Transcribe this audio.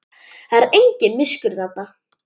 Það er engin miskunn þarna.